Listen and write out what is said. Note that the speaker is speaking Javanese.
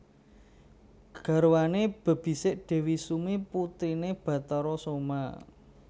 Garwane bebisik Dewi Sumi putrine Bathara Soma